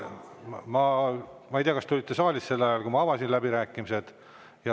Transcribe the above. Ma ei tea, kas te olite saalis sel ajal, kui ma läbirääkimised avasin.